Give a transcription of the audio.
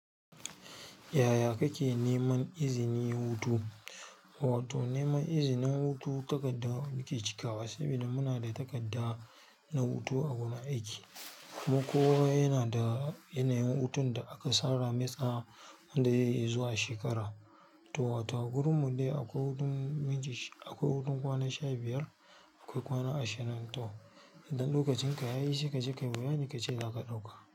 Yaya kake neman izinin hutu? Wato neman izinin hutu takarda muke cikawa saboda muna da takarda na hutu a wajen aiki. Mu kowa yana da yanayin hutun da aka tsara mai tsawon wanda zai yi zuwa shekara. To wato a wurin mu dai akwai hutun miji, akwai hutun kwana sha biyar, akwai kwana ashirin. To idan lokacin ka yayi sai kaje ka, bayanin ka ce za ka ɗauka.